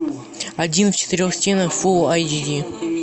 один в четырех стенах фул айч ди